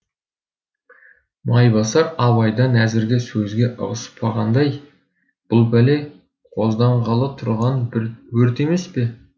майбасар абайдан әзірге сөзге ығыспағандай бұл пәле қозданғалы тұрған бір өрт емес пе